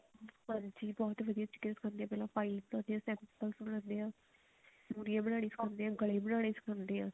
ਹਾਂਜੀ ਬਹੁਤ ਤਰੀਕੇ ਨਾਲ ਸਿਖਾਉਂਦੇ ਨੇ ਪਹਿਲਾਂ file ਬਣਾਉਂਦੇ ਹਾ ਮੁਹਰੀਆਂ ਬਣਾਉਣੀ ਸਿਖਾਉਂਦੇ ਆ ਗਲੇ ਬਣਾਉਣੇ ਸਿਖਾਉਂਦੇ ਆ